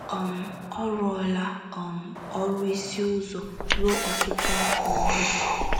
um Ọ rụọla um ọrụ ịsụ ụzọ ruo ọtụtụ afọ ugbu a.